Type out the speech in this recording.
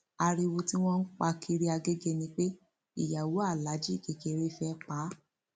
ariwo tí wọn ń pa kiri agege ni pé ìyàwó aláàjì kékeré fẹẹ pa á